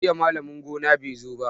Jiya malamin gona bai zo ba.